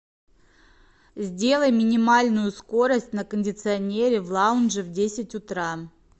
сделай минимальную скорость на кондиционере в лаунже в десять утра